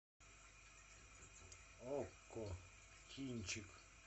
окко кинчик